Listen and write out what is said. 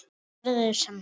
Verður sem steinn.